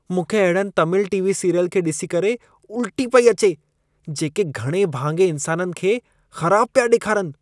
मूंखे अहिड़नि Tamil TV. Serial खे ॾिसी करे उल्टी पई अचे, जेके घणे भाङे इंसाननि खे ख़राब पिया ॾेखारिन।